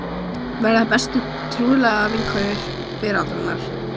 Verða bestu trúnaðarvinkonur veraldarinnar.